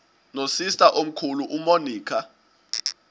nosister omkhulu umonica